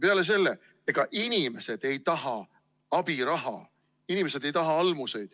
Peale selle, ega inimesed ei taha abiraha, inimesed ei taha almusi.